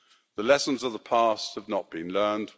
The lessons of the past have not been learned.